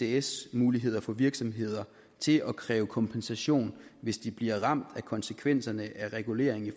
isds muligheder for virksomheder til at kræve kompensation hvis de bliver ramt af konsekvenserne af reguleringen i